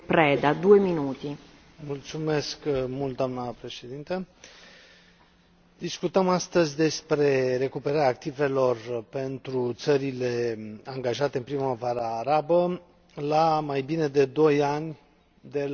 Discutăm astăzi despre recuperarea activelor pentru țările angajate în Primăvara arabă, la mai bine de doi ani de la începerea transformărilor pe care le a cunoscut vecinătatea sudică.